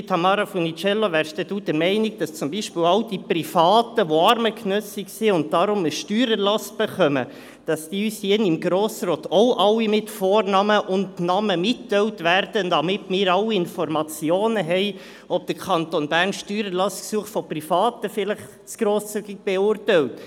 Liebe Tamara Funiciello, sind Sie dann der Meinung, dass zum Beispiel all die Privaten, die armengenössig sind und darum einen Steuererlass erhalten, uns hier im Grossen Rat auch alle mit Vornamen und Namen mitgeteilt werden, damit wir alle Informationen haben, ob der Kanton Bern Steuererlassgesuche von Privaten vielleicht zu grosszügig beurteilt?